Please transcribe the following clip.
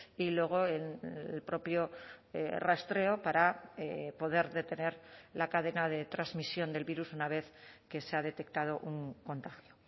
y luego el propio rastreo para poder detener la cadena de transmisión del virus una vez que se ha detectado un contagio